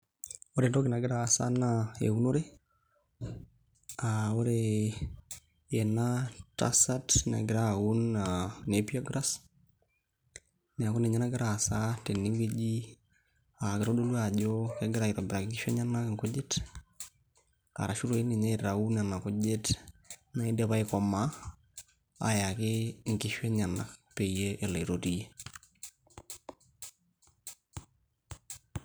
Ore entoki nagira aasa naa eunore aa ore ena tasat negira auno a nappier grass ,niaku ninye nagira aasa tenewueji aa kitodolu ajo kegira aitobiraa nkishu enyenak nkujit arashu doi ninye aitau nena kujit naidipa aikomaa ayaki nkishu enyenak peyie elo aitotiyie .